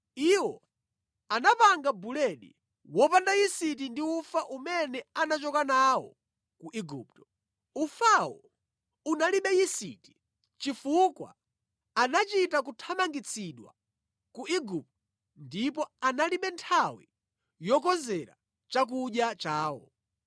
Iwo anapanga buledi wopanda yisiti ndi ufa umene anachoka nawo ku Igupto. Ufawo unalibe yisiti chifukwa anachita kuthamangitsidwa ku Igupto ndipo analibe nthawi yokonzera chakudya chawo.